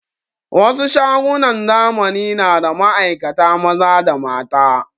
Wasu shagunan zamani na da ma'aikata maza da mata